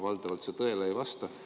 Valdavalt see tõele ei vasta.